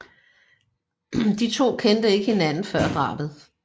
De to kendte ikke hinanden før drabet